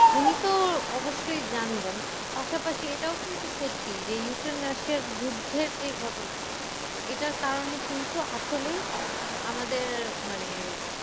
উনি তো অবশ্যই জানবেন পাশাপাশি এটাও কিন্তু সত্যি যে ইউক্রেন রাশিয়ার যুদ্ধের যে ঘটনা এটার কারণে কিন্তু আসলেই আমাদের মানে